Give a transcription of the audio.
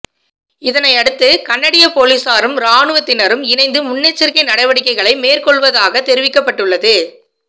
இதனையடுத்து கனடிய போலிஸாரும் இராணுவத்தினரும் இணைந்து முன்னெச்சரிக்கை நடவடிக்கைகளை மேற்கொள்வதாக தெரிவிக்கப்பட்டுள்ளது